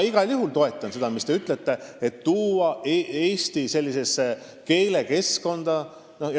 Igal juhul ma toetan seda, mis te ütlesite – tuua järjest rohkem ja rohkem inimesi eestikeelsesse keskkonda.